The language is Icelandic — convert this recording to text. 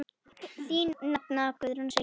Þín nafna, Guðrún Silja.